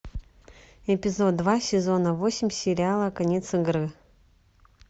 эпизод два сезона восемь сериала конец игры